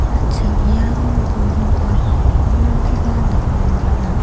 an·ching iano buring aro bolgrim-rangkoba nikna man·a.